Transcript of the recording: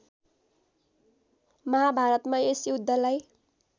महाभारतमा यस युद्धलाई